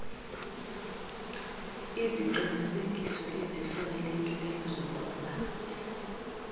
iziqinisekiso ezifanelekileyo zokuba